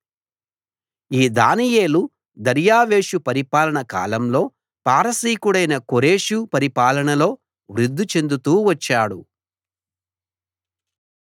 ఈ దానియేలు దర్యావేషు పరిపాలన కాలంలో పారసీకుడైన కోరెషు పరిపాలనలో వృద్ది చెందుతూ వచ్చాడు